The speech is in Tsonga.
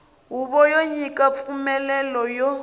huvo yo nyika mpfumelelo ya